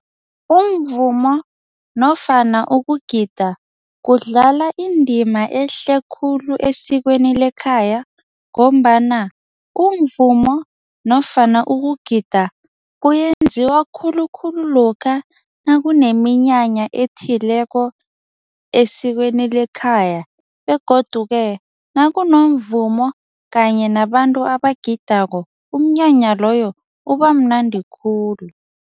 Umvumo nofana ukugida, kudlala indima ehle khulu esikweni lekhaya ngombana umvumo nofana ukugida kuyenziwa khulukhulu lokha nakuneminyanya ethileko esikweni lekhaya begodu-ke, nakunomvumo kanye nabantu abagidako umnyanya loyo ubamnandi khulu.